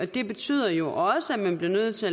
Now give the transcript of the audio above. det betyder jo også at man bliver nødt til